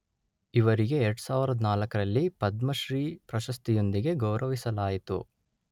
ಇವರಿಗೆ ಎರಡು ಸಾವಿರದ ನಾಲ್ಕರಲ್ಲಿ ಪದ್ಮ ಶ್ರೀ ಪ್ರಶಸ್ತಿಯೊಂದಿಗೆ ಗೌರವಿಸಲಾಯಿತು